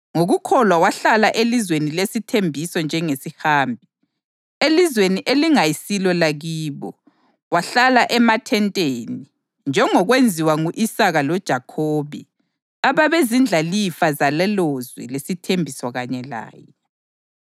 Ngokukholwa wahlala elizweni lesithembiso njengesihambi, elizweni elingayisilo lakibo; wahlala emathenteni, njengokwenziwa ngu-Isaka loJakhobe, ababezindlalifa zalelolizwe lesithembiso kanye laye.